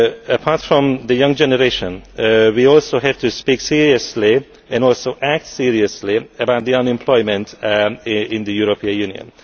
Apart from the young generation, we also have to speak seriously and also act seriously about the unemployment in the European Union.